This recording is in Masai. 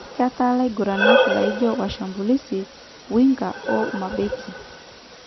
Ketaa laguranak laijo Washambulizi, Winga o Mabeki.